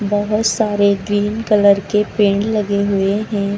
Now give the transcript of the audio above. बहुत सारे green colour के पेड़ लगे हुए हैं।